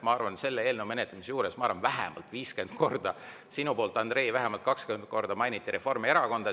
Ma arvan, et selle eelnõu menetlemise juures vähemalt viiskümmend korda mainiti ja sina, Andrei, mainisid vähemalt kakskümmend korda Reformierakonda.